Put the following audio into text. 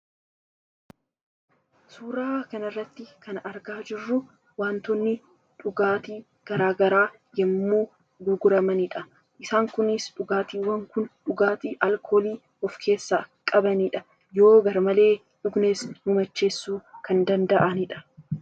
Suuraa kanarratti kan argaa jirru waantonni dhugaatii garaa garaa yommuu gurguramanidha. Isaan kunis dhugaatiiwwan kun dhugaatii alkoolii of keessaa qabanidha. Yoo garmalee dhugnes nu macheessuu kan danda'anidha.